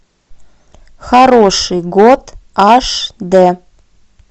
хороший год аш дэ